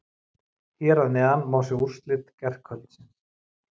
Hér að neðan má sjá úrslit gærkvöldsins.